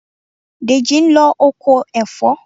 Dèjì ń lọ oko ẹ̀fọ́.